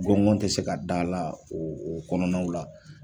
Gɔngɔn tɛ se ka da la o o kɔnɔnaw la.